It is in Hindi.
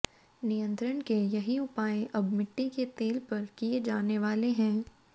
नियंत्रण के यही उपाय अब मिट्टी के तेल पर किए जाने वाले हैं